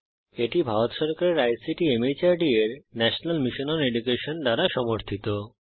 এটি ভারত সরকারের ICT MHRD এর ন্যাশনাল মিশন ওন এডুকেশন দ্বারা সমর্থিত